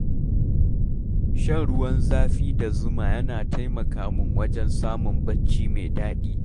Shan ruwan zafi da zuma yana taimaka min wajen samun barci mai daɗi.